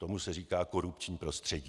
Tomu se říká korupční prostředí.